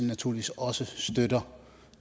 naturligvis også støtter